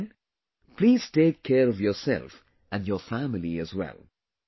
Till then please take care of yourself and your family as well